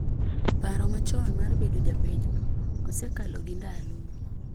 Paro machon mar bedo ja pinyno "osekalo gi ndalo".